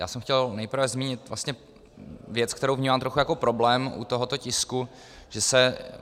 Já jsem chtěl nejprve zmínit vlastně věc, kterou vnímám trochu jako problém u tohoto tisku, že se...